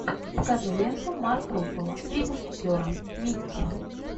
покажи ленту марк руффало три мушкетера микки